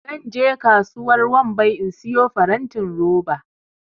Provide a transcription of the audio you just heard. zan je kasuwar wambai in siyo farantin roba